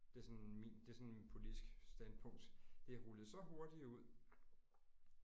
Det er sådan min det er sådan min politisk standpunkt det er rullet så hurtigt ud